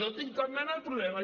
no tinc cap mena de problema